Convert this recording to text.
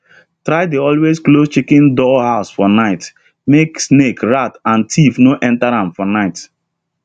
try dey always close chicken door house for night make snake rat and thief no enter am for night